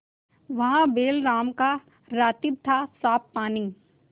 वहाँ बैलराम का रातिब थासाफ पानी